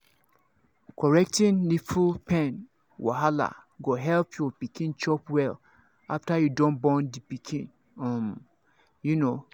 people wey dey work for hospital um fit correct nipple pain wey go make your baby um dey chop um well.